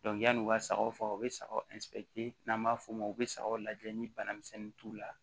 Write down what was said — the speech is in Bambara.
yan'u ka sagaw faga u bɛ sagaw n'an b'a f'o ma u bɛ sagaw lajɛ ni bana misɛnnin t'u la